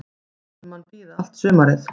Lætur mann bíða allt sumarið.